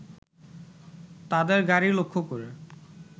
তাদের গাড়ি লক্ষ্য করে